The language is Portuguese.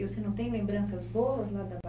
E você não tem lembranças boas lá da